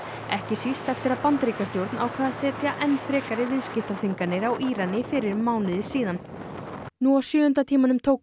ekki síst eftir að Bandaríkjastjórn ákvað að setja enn frekari viðskiptaþvinganir á Íran fyrir um mánuði nú á sjöunda tímanum tók